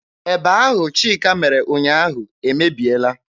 Eba ahụ Chika mere ụnyaahụ emebiela.